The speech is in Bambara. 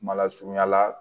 Mala surunya la